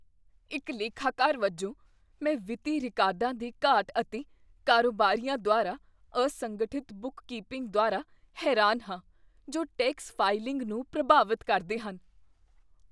ਇੱਕ ਲੇਖਾਕਾਰ ਵਜੋਂ, ਮੈਂ ਵਿੱਤੀ ਰਿਕਾਰਡਾਂ ਦੀ ਘਾਟ ਅਤੇ ਕਾਰੋਬਾਰੀਆਂ ਦੁਆਰਾ ਅਸੰਗਠਿਤ ਬੁੱਕਕੀਪਿੰਗ ਦੁਆਰਾ ਹੈਰਾਨ ਹਾਂ ਜੋ ਟੈਕਸ ਫਾਈਲਿੰਗ ਨੂੰ ਪ੍ਰਭਾਵਤ ਕਰਦੇ ਹਨ।